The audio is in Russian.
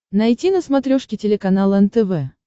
найти на смотрешке телеканал нтв